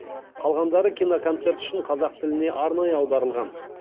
қалғандары киноконцерт үшін қазақ тіліне арнайы аударылған